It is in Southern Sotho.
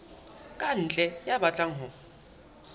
ka ntle ya batlang ho